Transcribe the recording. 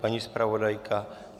Paní zpravodajka?